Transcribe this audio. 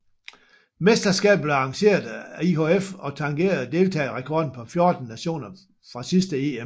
Mesterskabet blev arrangeret af IIHF og tangerede deltagerrekorden på 14 nationer fra sidste EM